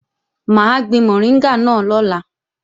Mà á gbin mọ̀ríngà náà lọ́la